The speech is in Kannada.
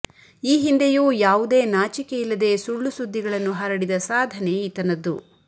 ಈ ಹಿಂದೆಯೂ ಯಾವುದೇ ನಾಚಿಕೆಯಿಲ್ಲದೆ ಸುಳ್ಳು ಸುದ್ದಿಗಳನ್ನು ಹರಡಿದ ಸಾಧನೆ ಈತನದ್ದು